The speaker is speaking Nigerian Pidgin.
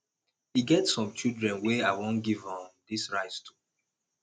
e get some children i wan give um dis rice to